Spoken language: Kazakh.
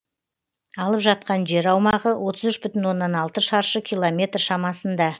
алып жатқан жер аумағы отыз үш бүтін оннан алты шаршы километр шамасында